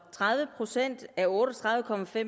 tredive procent af otte og tredive